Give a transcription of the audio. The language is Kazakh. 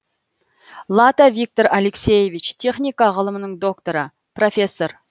лата виктор алексеевич техника ғылымының докторы профессор